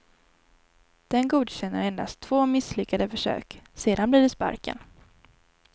Den godkänner endast två misslyckade försök, sedan blir det sparken.